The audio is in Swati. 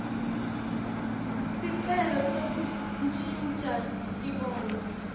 sicelo sekuntjintja tibongo